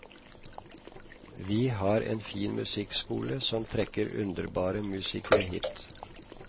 Vi har en fin musikkskole som trekker underbare musikere hit.